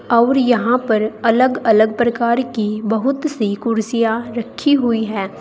और यहां पर अलग अलग प्रकार की बहुत सी कुर्सियां रखी हुई हैं।